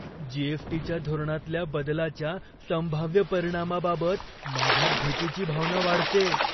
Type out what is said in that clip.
जी.एस.टी.च्या धोरणातल्या बदलाच्या संभाव्य परिणामाबाबत माझ्यात भीतीची भावना वाढतेय.